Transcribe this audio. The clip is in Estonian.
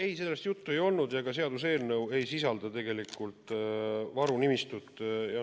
Ei, sellest juttu ei olnud ja ka seaduseelnõu ei sisalda varude nimistut.